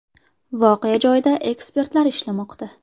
Voqea joyida ekspertlar ishlamoqda.